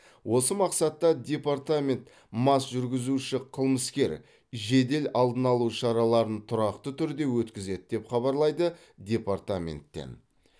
осы мақсатта департамент мас жүргізуші қылмыскер жедел алдын алу шараларын тұрақты түрде өткізеді деп хабарлайды департаменттен